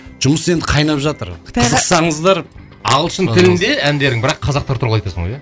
жұмыс енді қайнап жатыр қытайға қызықсаңыздар ағылшын тілінде әндерің бірақ қазақтар туралы айтасың ғой иә